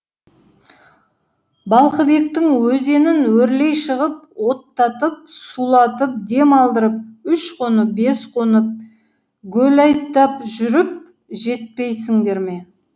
балқыбектің өзенін өрлей шығып оттатып сулатып дем алдырып үш қонып бес қонып гөләйттап жүріп жетпейсіңдер ме